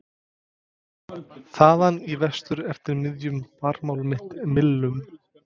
. þaðan í vestur eftir miðjum Barmaál mitt millum?